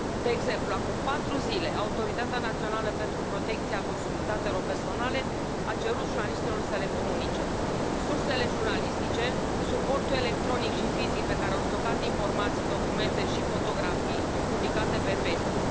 De exemplu, acum patru zile, Autoritatea Națională de Supraveghere a Prelucrării Datelor cu Caracter Personal a cerut jurnaliștilor să le comunice sursele jurnalistice, suportul electronic și fizic pe care au stocat informații, documente și fotografii publicate pe Facebook.